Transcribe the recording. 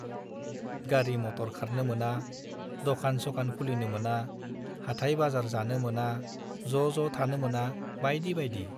गारि - मटर खारनो मोना , दकान - स'कान खुलिनो मोना , हाटाय - बाजार जानो मोना , ज'ज' थानो मोना बाइदि बाइदि ।